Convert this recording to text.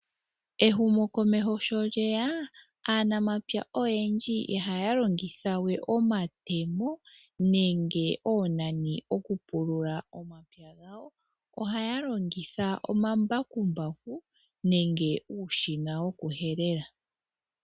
Ehumo komeho sho lyeya aanamapya oyendji ihaya longithawe omatemo nenge oonani okupulula omapya gawo, ohaya longitha omambakambaku nenge uushina woku helela.